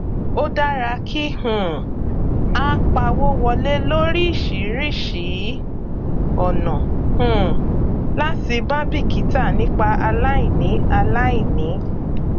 ó dára kí um á pawó wọlé lóríṣìíríṣìí ọnà um láti má bíkítà nípa aláìní aláìní